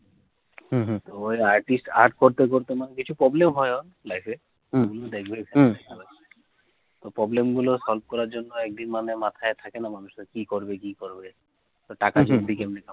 হম হম ওই artist art করতে করতে